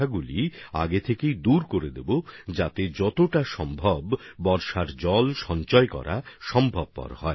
তাহলে সেগুলিতে যত বেশি সম্ভব বর্ষার জল সঞ্চয় করতে পারবো